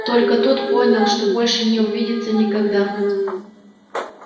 только тут понял что больше не увидится никогда